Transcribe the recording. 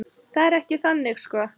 Það er ekki þannig sko.